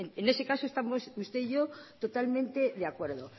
en ese caso estamos usted y yo totalmente de acuerdo